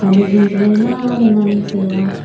pan a zu chu maima le ngan le tai a.